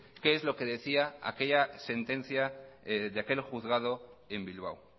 qué es lo que decía aquella sentencia de aquel juzgado en bilbao